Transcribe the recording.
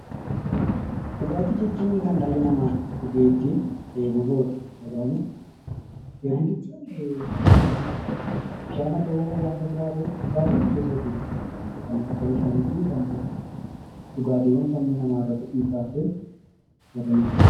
Dhugaatii jechuun kan dhalli namaa dhugee ittiin dheebuu bahudha. Bishaan haa ta'u wanta biraa haa ta'u dhugaatiin gosa hedduutu jira. Dhugaatiiwwan sammuu namaa irratti dhiibbaa fidanii fi warreen akkasii.